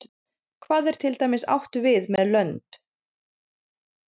Hvað er til dæmis átt við með lönd?